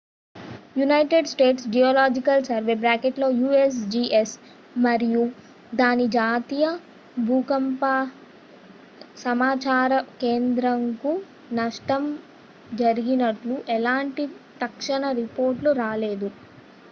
United States Geological Survey usgs మరియు దాని జాతీయ భూకంప సమాచార కేంద్రంకు నష్టం జరిగినట్లు ఎలాంటి తక్షణ రిపోర్ట్లు రాలేదు